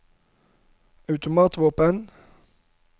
automatvåpen